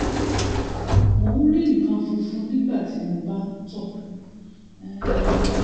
mo ń rí nǹkan fúnfun nígbà tí mo bá ń tọ̀ um